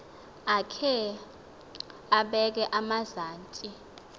akhe abeke emazantsi